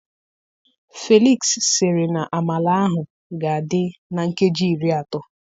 Felix siri na amala ahụ ga adị na nkeji iri atọ